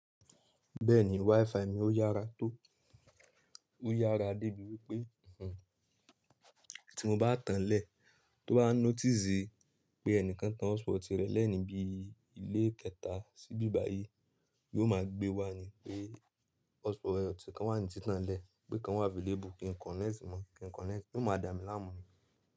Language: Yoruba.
Bẹ́ẹ̀ni, WiFi mi ó yára tó, ó yára débi wípé tí mo bá tànlẹ̀ tó bá notice pé ẹnìkan tan hotspot rẹ̀ lẹ́yìn bí ilé kẹta síbí báyìí, yóò máa gbé wá ni pé hotspot rẹ̀ ti kan wà ní tí tàn ẹ́ lẹ̀, pé kan wà available kí n connect mọ̀, kí n connect, kó máa dámi láàmú ni.